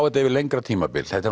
þetta yfir lengra tímabil það er